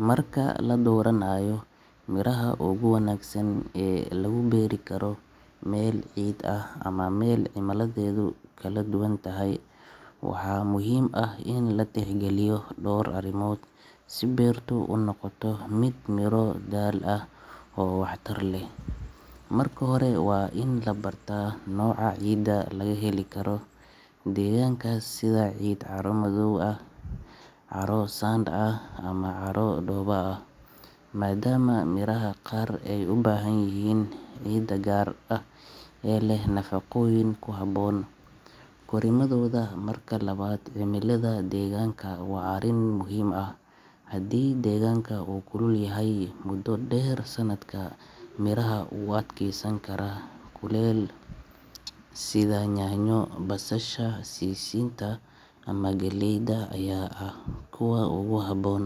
Marka la dooranayo miraha ugu wanaagsan ee lagu beeri karo meel cid ah ama meel cimiladeedu kala duwan tahay, waxaa muhiim ah in la tixgeliyo dhowr arrimood si beertu u noqoto mid miro dhal ah oo waxtar leh. Marka hore, waa in la barta nooca ciidda laga heli karo deegaankaas, sida ciid carro-madow ah, carro-sand ah ama carro dhoobo ah, maadaama miraha qaar ay u baahan yihiin ciid gaar ah oo leh nafaqooyin ku habboon korriimadooda. Marka labaad, cimilada deegaanka waa arrin muhiim ah – haddii deegaanka uu kulul yahay muddo dheer sanadka, miraha u adkeysan kara kulaylka sida yaanyo, basasha, sisinta ama galleyda ayaa ah kuwa ugu habboon.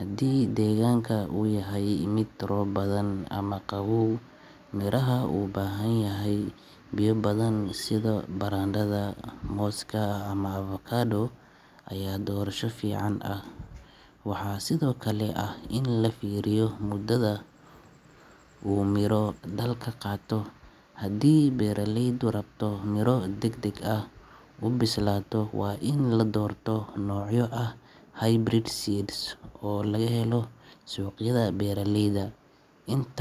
Haddii deegaanka uu yahay mid roob badan ama qaboow, miraha u baahan biyo badan sida barandhada, mooska ama avocado ayaa doorasho fiican ah. Waxaa sidoo kale muhiim ah in la fiiriyo muddada uu miro-dhalka qaato – haddii beeraleydu rabto miro degdeg u bislaada, waa in la doorto noocyo ah hybrid seeds oo laga helo suuqyada beeraleyda. Intaa.